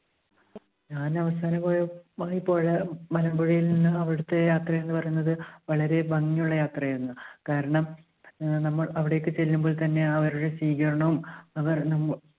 ഞാൻ അവസാനം പോയ നമ്മൾ പോയ മലമ്പുഴയിൽ നിന്നും അവിടുത്തെ യാത്ര എന്ന് പറയുന്നത് വളരെ ഭംഗിയുള്ള യാത്രയായിരുന്നു. കാരണം ആഹ് നമ്മൾ അവിടേക്ക് ചെല്ലുമ്പോൾ തന്നെ ആ ഒരു സ്വീകരണവും അവർ നമ്മോ